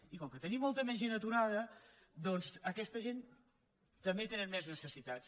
i com que tenim molta més gent aturada doncs aquesta gent també tenen més necessitats